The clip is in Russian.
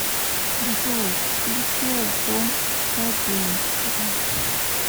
джой включи альбом па дентро